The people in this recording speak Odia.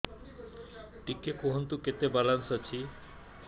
ଟିକେ କୁହନ୍ତୁ କେତେ ବାଲାନ୍ସ ଅଛି